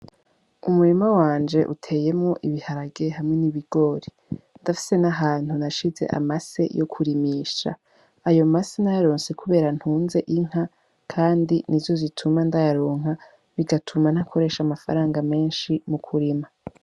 Umurima wanje uteyemwo ibiharage hamwe n' ibigori ndafise n' ahantu nashize amase yo kurimisha ayo mase nayaronse kubera ntunze inka kandi nizo zituma ndayaronka bigatuma ntakoresha amafaranga menshi mu kurima.